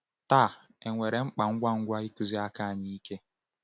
Taa, enwere mkpa ngwa ngwa ịkụzi aka anyị ike.